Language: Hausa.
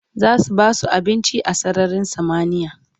zasu basu abinci a sararin samaniya